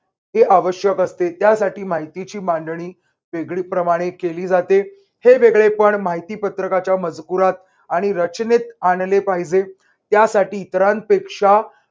हे आवश्‍यक असते. त्यासाठी माहितीची मांडणी वेगळी प्रमाणे केली जाते. हे वेगळेपण माहिती पत्रकाच्या मजकुरात आणि रचनेत आणले पाहिजे त्यासाठी इतरांपेक्षा